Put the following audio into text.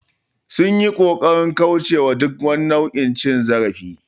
They tried to avoid any form of abuse